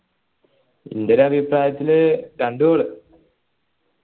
ഇന്റെ ഒരു അഭിപ്രായത്തിൽ രണ്ടു goal